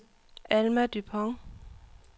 Alma Dupont